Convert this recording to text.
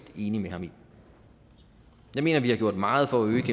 enig med ham i jeg mener at vi har gjort meget for at øge